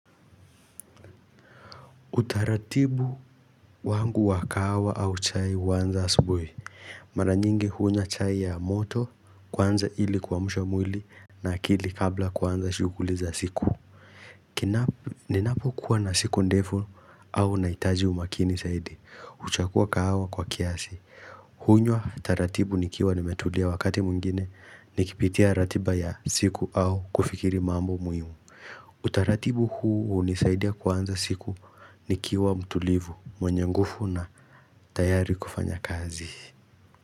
Utaratibu wangu wakahawa au chai uanza asubui Maranyingi hunywa chai ya moto kwanza ili kua msha mwili na akili kabla kuanza shuguli za siku Ninapo kuwa na siku ndefu au naitaji umakini zaidi Uchakua kahawa kwa kiasi hunywa taratibu nikiwa nimetulia wakati mwingine Nikipitia ratiba ya siku au kufikiri mambo muimu Utaratibu huu unisaidia kuanza siku ni kiwa mtulivu mwenye ngufu na tayari kufanya kazi.